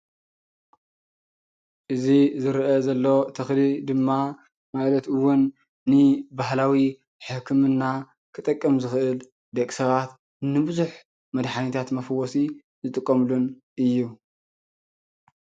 እዚ ዝርአ ዘሎ ተክሊ ድማ ማለት እውን ንባህላዊ ሕክምና ክጠቅም ዝክእል ደቂ ሰባት ንቡዙሕ መድሓኒታት መፈወሲ ዝጥቀምሉን እዩ፡፡